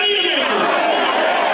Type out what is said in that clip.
Həmidə! Ya Əli!